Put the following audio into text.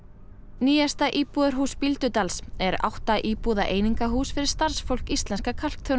nýjasta íbúðarhús Bíldudals er átta íbúða einingahús fyrir starfsfólk Íslenska